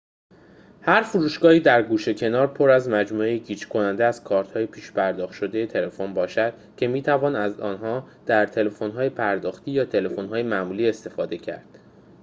هر فروشگاهی در گوشه و کنار پر از مجموعه‌ای گیج کننده از کارت‌های پیش‌پرداخت شده تلفن باشد که می‌توان از آنها در تلفن‌های پرداختی یا تلفن‌های معمولی استفاده کرد